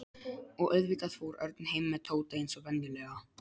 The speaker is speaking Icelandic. Og auðvitað fór Örn heim með Tóta eins og venjulega.